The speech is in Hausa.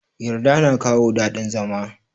Yarda na kawo dadin zama.